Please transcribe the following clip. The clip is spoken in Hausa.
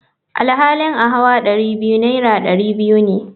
Alhali a hauwa Dari biyu naira dari biyu ne.